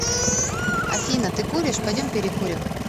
афина ты куришь пойдем перекурим